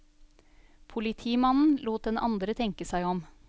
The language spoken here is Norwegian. Politimannen lot den andre tenke seg om.